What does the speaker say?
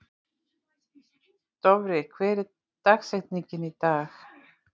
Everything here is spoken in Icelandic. Dofri, hver er dagsetningin í dag?